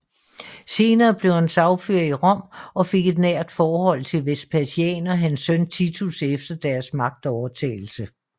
Senere blev han sagfører i Rom og fik et nært forhold til Vespasian og hans søn Titus efter deres magtovertagelse